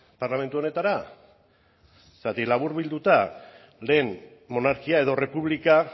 parlamentu honetara zergatik laburbilduta lehen monarkia edo errepublika